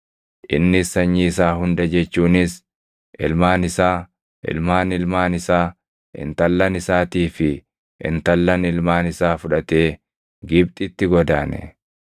Innis sanyii isaa hunda jechuunis ilmaan isaa, ilmaan ilmaan isaa, intallan isaatii fi intallan ilmaan isaa fudhatee Gibxitti godaane.